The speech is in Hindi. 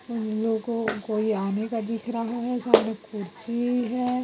को कोई आर्मी का दिख रहा है सामने कुर्सी है।